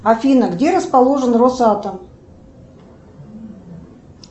афина где расположен росатом